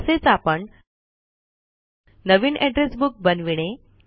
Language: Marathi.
तसेच आपण नवीन एड्रेस बुक बनविणे